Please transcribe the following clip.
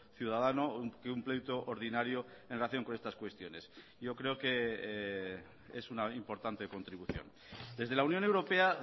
ciudadano que un pleito ordinario en relación con estas cuestiones yo creo que es una importante contribución desde la unión europea